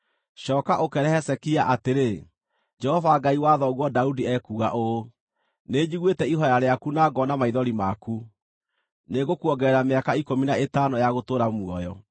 “Cooka ũkeere Hezekia atĩrĩ, ‘Jehova Ngai wa thoguo Daudi ekuuga ũũ: Nĩnjiguĩte ihooya rĩaku na ngoona maithori maku; nĩngũkuongerera mĩaka ikũmi na ĩtano ya gũtũũra muoyo.